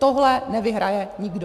Tohle nevyhraje nikdo.